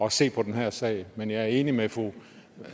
at se på den her sag men jeg er enig med fru